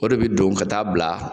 O de bi don ka taa bila